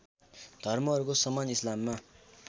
धर्महरूको समान इस्लाममा